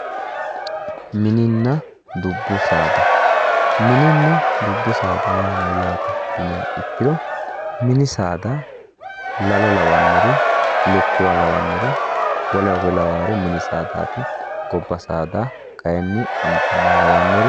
Mininna dubbu saada, mininna dubbu saada yaa mayate yinniha ikkiro mini saada la'lo lawanori, lukkuwa lawannori, woleno kuri lawannori mini saadati. gobba saada kayinni Amboma lawanori